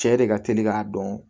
Cɛ de ka teli k'a dɔn